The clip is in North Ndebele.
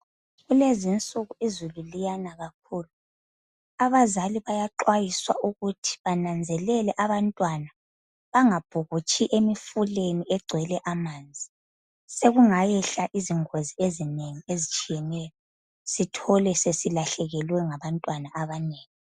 Kulezinsuku izulu liyana kakhulu abazali bayaxwayiswa ukuthi bananzelele abantwana bangabhukutshi emfuleni ogcwele amanzi sokungayehla iziingozi ezinengi ezitshiyeneyo sithole sesilahlekelwe ngabantwana abanengi.